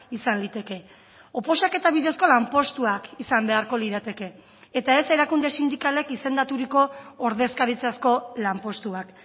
izan liteke oposaketa bidezko lanpostuak izan beharko lirateke eta ez erakunde sindikalek izendaturiko ordezkaritzazko lanpostuak